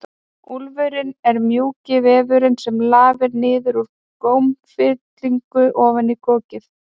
Úfurinn er mjúki vefurinn sem lafir niður úr gómfillunni ofan í kokið.